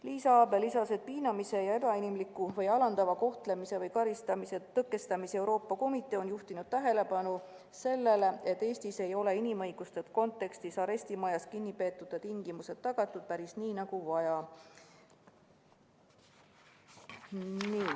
Liisa Abel lisas, et Piinamise ja Ebainimliku või Alandava Kohtlemise või Karistamise Tõkestamise Euroopa Komitee on juhtinud tähelepanu sellele, et Eestis ei ole inimõiguste kontekstis arestimajas kinnipeetute tingimused tagatud päris nii, nagu vaja.